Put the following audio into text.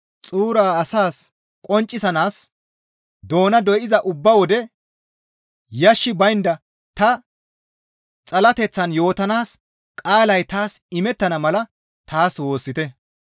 Tani Mishiraachcho qaala xuuraa asas qonccisanaas doona doyza ubba wode yashshi baynda ta xalateththan yootanaas qaalay taas imettana mala taas woossite.